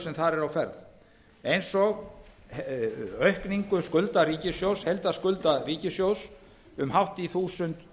sem þar eru á ferð eins og aukningu skulda ríkissjóðs heildarskulda ríkissjóðs um hátt í þúsund